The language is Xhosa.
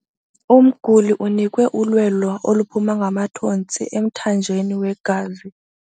Umguli unikwe ulwelo oluphuma ngamathontsi emthanjeni wegazi.